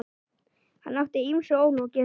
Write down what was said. Hann átti ýmsu ólokið.